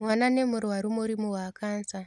Mwana nĩmũrwaru mũrimũ wa kansa.